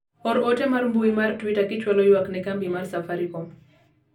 or ote mar mbui mar twita kichwalo ywak ne kambi mar safarikom